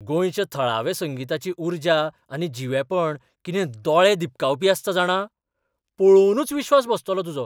गोंयच्या थळाव्या संगिताची उर्जा आनी जिवेपण कितें दोळे दिपकावपी आसता जाणा, पळोवनूच विश्वास बसतलो तुजो.